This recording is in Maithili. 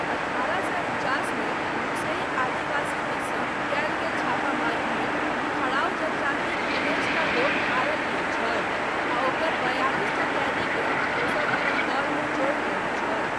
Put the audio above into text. अठारह सए उनचासमे लुसेई आदिवासी दिससँ कयल गेल छापामारीमे थड़ाऊ जनजातिक उन्नैसटा लोक मारल गेल छल आ ओकर बयालिसटा कैदीकेँ ओसब अपन दलमे जोड़ि लेने छल।